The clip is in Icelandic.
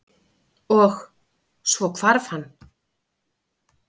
Og- svo hvarf hann.